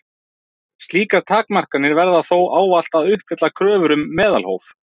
Slíkar takmarkanir verða þó ávallt að uppfylla kröfur um meðalhóf.